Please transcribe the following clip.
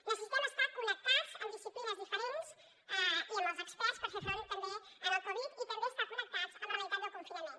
necessitem estar connectats amb disciplines diferents i amb els experts per fer front també al covid i també estar connectats amb la realitat del confinament